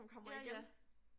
Ja ja